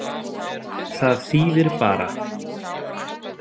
Það þýðir bara.